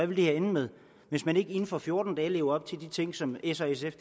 vil ende med hvis man ikke inden for fjorten dage lever op til de ting som s og sf